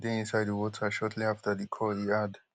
swimmers bin dey inside di water shortly afta di call e add